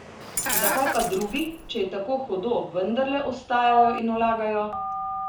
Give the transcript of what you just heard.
Zakaj pa drugi, če je tako hudo, vendarle ostajajo in vlagajo?